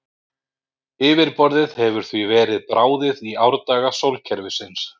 Yfirborðið hefur því verið bráðið í árdaga sólkerfisins.